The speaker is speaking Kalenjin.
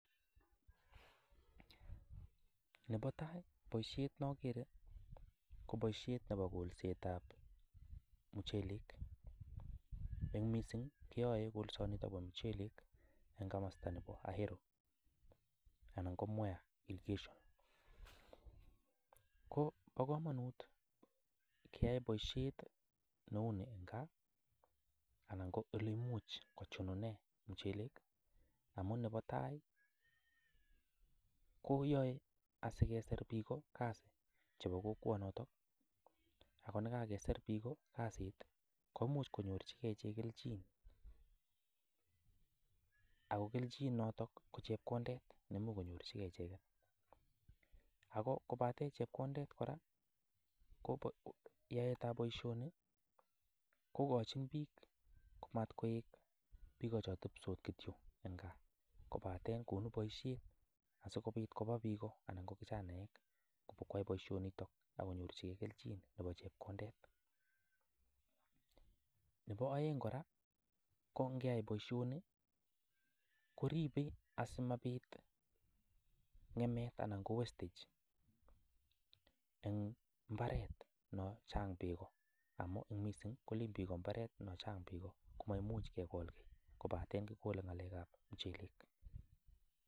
Nebo tai boisiet nokere ko boisiet nebo kolsetab muchelek, eng mising keyoe kolsanito bo muchelek eng kamasta nebo Aero anan ko Mwea irrigation, ko bo kamanut keyai boisiet neu ni ga anan ko ole imuch kochunune muchelek, amun nebo tai koyoe asikesir piko kazi chebo kokwonoto, akonekakesir piko kazit komuch konyorchikei ichek kelchin, ako kelchin notok ko chepkondet nemuch konyorchikei icheket, ako kobate chepkondet kora, ko yaetab boisioni kokochin piik ko matkoek piko cho tebsot kityo eng gaa kobate konu boisiet asikobit koba piko anan ko kijanaek kobo kwai boisionito akonyorchikei kelchin nebo chepkondet, nebo aeng kora ko ngea boisioni koribe asimabit ngemet anan ko wastage eng mbaret noo chang peko, amu ing mising kolen piko mbaret noo chang peko komaimuch kekol kiy kobate kikole ngalekab muchelek.